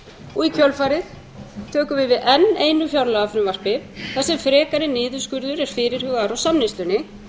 og í kjölfarið tökum við við enn einu fjárlagafrumvarpi þar sem frekari niðurskurður er fyrirhugaður á samneyslunni